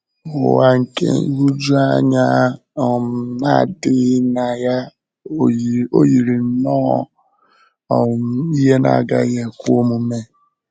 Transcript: Ụwa nke nhụjuanya um na-adịghị na um ya ò yiri nnọọ um ihe na-agaghị ekwe na-agaghị ekwe omume?